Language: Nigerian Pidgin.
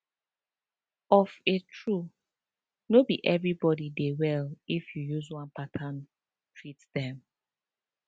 of a true no be everybody dey well if you use one pattern treat them